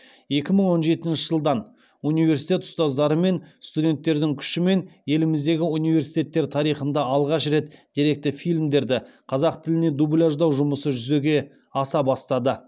екі мың он жетінші жылдан университет ұстаздары мен студенттердің күшімен еліміздегі университеттер тарихында алғаш рет деректі фильмдерді қазақ тіліне дубляждау жұмысы жүзеге аса бастады